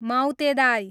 माउतेदाइ